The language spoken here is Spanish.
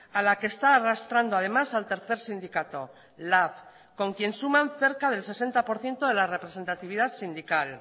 a la que está arrastrando además al tercer sindicato lab con quien suman cerca del sesenta por ciento de la representatividad sindical